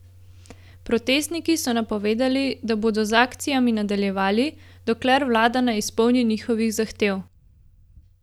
Protestniki so napovedali, da bodo z akcijami nadaljevali, dokler vlada ne izpolni njihovih zahtev.